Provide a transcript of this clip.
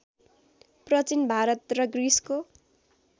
प्रचीन भारत र ग्रिसको